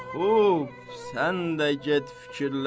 Xub, sən də get fikirləş.